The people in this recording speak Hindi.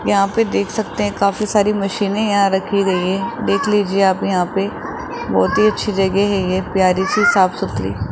यहां पे देख सकते है काफी सारी मशीने यहां रखी गई है देख लीजिए आप यहां पे बहोत ही अच्छी जगह है ये प्यारी सी साफ सुथरी।